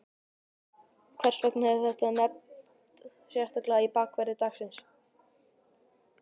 Hvers vegna er þetta nefnt sérstaklega í bakverði dagsins?